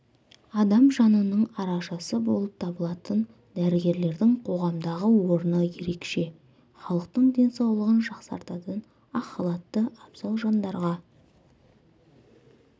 адам жанының арашасы болып табылатын дәрігерлердің қоғамдағы орны ерекше халықтың денсаулығын жақсартатын ақ халатты абзал жандарға